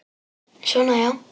Svona, já.